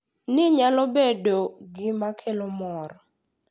Ni nyalo bedo gima kelo mor.